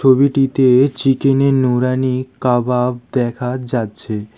ছবিটিতে চিকেন -এর নূরানী কাবাব দেখা যাচ্ছে।